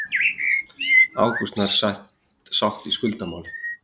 Ágúst nær sátt í skuldamáli